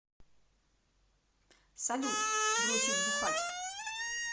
салют бросить бухать